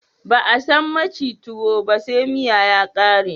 Ba a san maci tuwo ba se miya ta ƙare